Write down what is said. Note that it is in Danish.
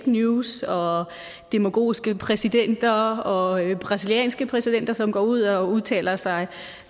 news og demagogiske præsidenter og brasilianske præsidenter som går ud og udtaler sig